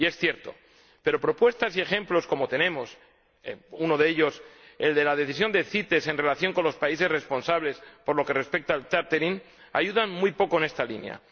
Es cierto, pero propuestas y ejemplos como los que tenemos uno de ellos es la decisión de CITES en relación con los países responsables por lo que respecta al re flagging ayudan muy poco en esta línea.